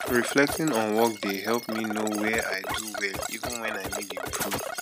reflecting on workday help me know where i do well even where i need improve